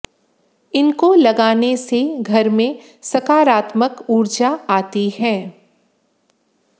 इनको लगाने से घर में सकारात्मक ऊर्जा आती है